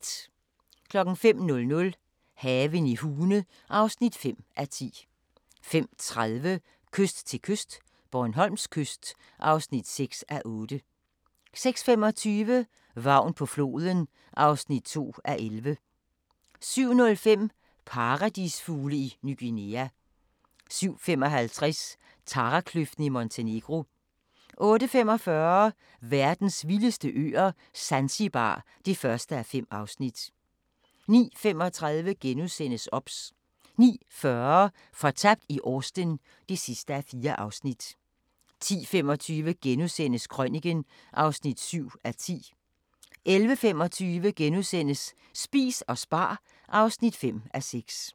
05:00: Haven i Hune (5:10) 05:30: Kyst til kyst - Bornholms kyst (6:8) 06:25: Vagn på floden (2:11) 07:05: Paradisfugle i Ny Guinea 07:55: Tarakløften i Montenegro 08:45: Verdens vildeste øer - Zanzibar (1:5) 09:35: OBS * 09:40: Fortabt i Austen (4:4) 10:25: Krøniken (7:10)* 11:25: Spis og spar (5:6)*